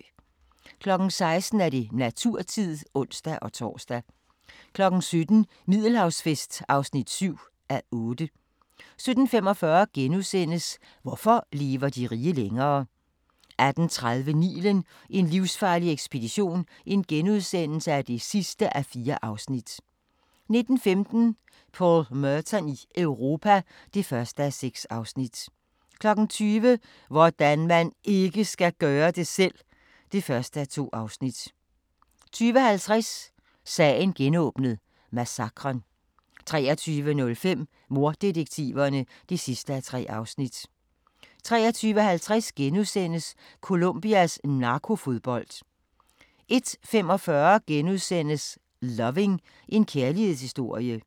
16:00: Naturtid (ons-tor) 17:00: Middelhavsfest (7:8) 17:45: Hvorfor lever de rige længere? * 18:30: Nilen: en livsfarlig ekspedition (4:4)* 19:15: Paul Merton i Europa (1:6) 20:00: Hvordan man IKKE skal gøre det selv! (1:2) 20:50: Sagen genåbnet: Massakren 23:05: Morddetektiverne (3:3) 23:50: Colombias narkofodbold * 01:45: Loving – en kærlighedshistorie *